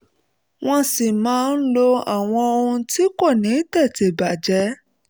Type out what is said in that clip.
wọ́n sì máa ń lo àwọn ohun tí kò ní tètè bàjẹ́